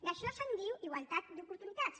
d’això se’n diu igualtat d’oportunitats